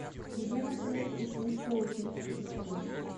где находится уфимское училище искусств